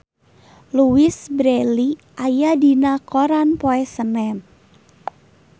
Louise Brealey aya dina koran poe Senen